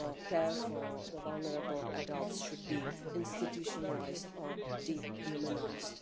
care for vulnerable adults should be institutionalised or dehumanised.